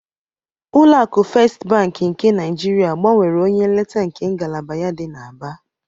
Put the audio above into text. Ụlọ akụ Festị Bankị nke Naịjirịa gbanwere onye nleta nke ngalaba ya dị n'Aba.